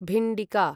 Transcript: भिण्डिका